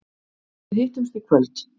Við hittumst í kvöld.